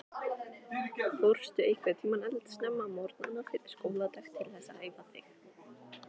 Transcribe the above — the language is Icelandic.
Fórstu einhvern tímann eldsnemma á morgnana fyrir skóladag til þess að æfa þig?